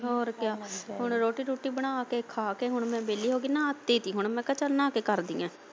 ਹੋਰ ਕੀ ਹੁਣ ਰੋਟੀ ਰੁਟੀ ਬਣਾ ਕੇ ਖਾ ਕੇ ਹੁਣ ਮੈਂ ਵੇਲੀ ਹੋ ਕੇ ਨਹਾਤੀਂ ਸੀ ਮੈਂ ਕਿਹਾ ਚੱਲ ਨਹਾ ਕੇ ਕਰਦੀ ਆ।